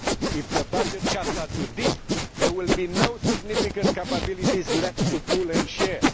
If the budget cuts are too deep, there will be no significant capabilities left to pool and share.